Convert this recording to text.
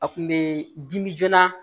A kun be dimi joona